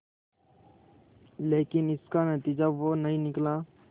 लेकिन इसका नतीजा वो नहीं निकला